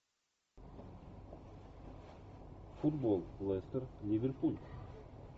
футбол лестер ливерпуль